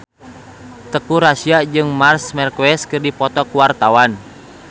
Teuku Rassya jeung Marc Marquez keur dipoto ku wartawan